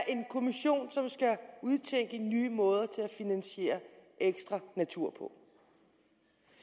en kommission som skal udtænke nye måder til at finansiere ekstra natur på